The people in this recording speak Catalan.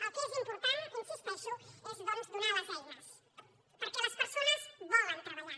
el que és important hi insisteixo és donar les eines perquè les persones volen treballar